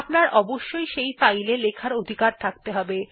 আপনার অবশ্যই সেই ফাইল এ লেখার অধিকার থাকতে হবে